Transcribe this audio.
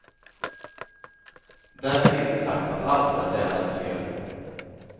Därmed inte sagt att allt är tränarens fel.